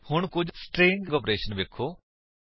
ਹੁਣ ਕੁੱਝ string operation ਵੇਖੋ